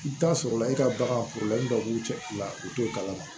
I bɛ taa sɔrɔla e ka bagan dɔw b'u cɛ la u t'o kalama